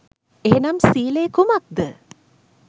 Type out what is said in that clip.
එහෙනම් සීලය කුමක්ද